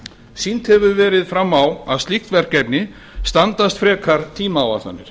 sýnt hefur verið fram á að slík verkefni standast frekar tímaáætlanir